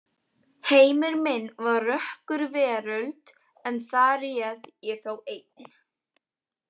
Heimur minn var rökkurveröld en þar réð ég þó einn.